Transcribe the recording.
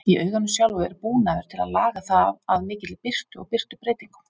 Í auganu sjálfu er búnaður til að laga það að mikilli birtu og birtubreytingum.